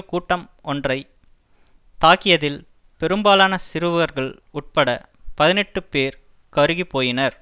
கூட்டம் ஒன்றை தாக்கியதில் பெரும்பாலான சிறுவர்கள் உட்பட பதினெட்டு பேர் கருகிப் போயினர்